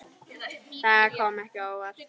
Það kom ekki á óvart.